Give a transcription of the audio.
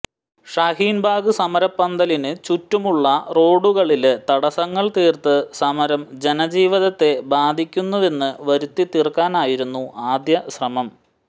ഷഹീന് ബാഗ് സമരപന്തലിന് ചുറ്റുമുള്ള റോഡുകളില് തടസങ്ങള് തീര്ത്ത് സമരം ജനജീവിതത്തെ ബാധിക്കുന്നുവെന്ന് വരുത്തിതീര്ക്കാനായിരുന്നു ആദ്യ ശ്രമം